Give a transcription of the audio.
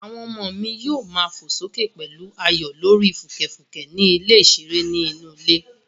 Àwọn ọmọ mi yóò má fò sókè pẹ̀lú ayọ̀ lórí fùkẹ̀fùkẹ̀ ní ilẹ̀ ìṣeré inú ilé